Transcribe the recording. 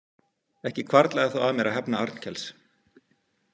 Ekki hvarflaði þá að mér að hefna Arnkels.